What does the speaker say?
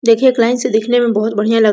देखिए एक लाइन से दिखने मे बहुत बढियाँ लग --